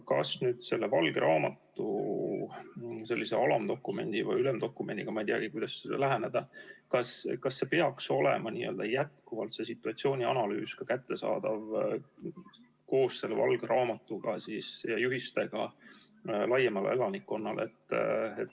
Kas nüüd selle valge raamatu sellise alamdokumendiga või ülemdokumendiga, ma ei teagi, kuidas läheneda, peaks olema see situatsioonianalüüs jätkuvalt kättesaadav koos selle valge raamatu ja juhistega laiemale elanikkonnale?